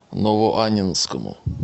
новоаннинскому